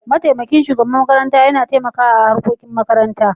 Mataimakin shugaban makaranta Yana taimaka a harkokin makaranta.